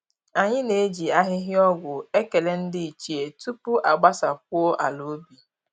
Anyị na-eji ahịhịa ọgwụ ekele ndị ichie tupu a gbasakwuo ala ubi